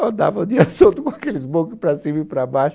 Andava o dia todo com aquele smoking para cima e para baixo.